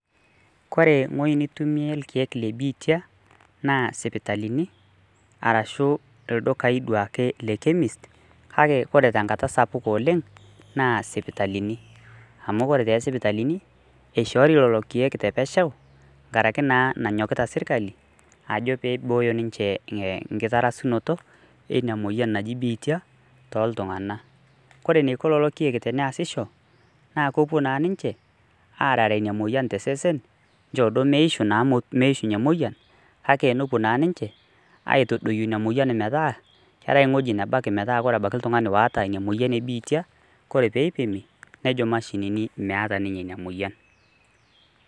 Kore ng'oi nitumie irkeek le biitia, naa isipitalini, arashu ildukai duake le Chemist, kake ore tenkata sapuk oleng' naa sipitalini. Amu kore tesipitalini, ishoori lelo keek tepesho, nkaraki naa nanyokita serkali, ajo pibooyo ninche inkitarasunoto ina moyian naji biitia, toltung'anak. Kore eniko lelo keek teneesisho, naa kopuo na ninche, arare ina moyian tesesen, nchoo duo meishu naa meishunye moyian, kake nopuo na ninche, aiatodoyio ina moyian metaa, keetae ewoji nabaki metaa orabaki oltung'ani oata ina moyian ebiitia, kore peipimi, nojo mashinini meeta ninye ina moyian.